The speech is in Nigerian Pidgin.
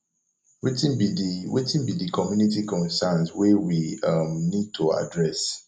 wetin be di wetin be di community concerns wey we um need to address